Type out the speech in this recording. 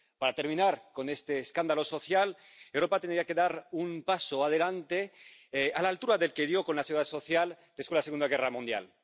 Para terminar con este escándalo social, Europa tendría que dar un paso adelante, a la altura del que dio con la seguridad social después de la Segunda Guerra Mundial.